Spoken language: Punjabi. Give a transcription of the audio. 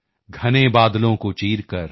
ਘਨੇ ਬਾਦਲੋਂ ਕੋ ਚੀਰ ਕਰ